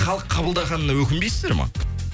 халық қабылдағанына өкінбейсіздер ма